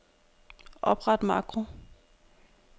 Opret makro.